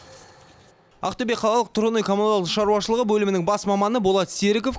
ақтөбе қалалық тұрғын үй коммуналдық шаруашылығы бөлімінің бас маманы болат серіков